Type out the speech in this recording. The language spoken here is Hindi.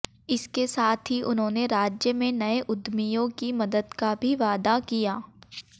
इसके साथ ही उन्होंने राज्य में नए उद्यमियों की मदद का भी वादा किया